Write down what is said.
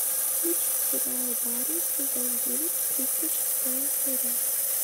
включи сериал барри сезон девять тридцать шестая серия